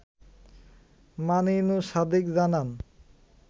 মানিনু সাদিক জানান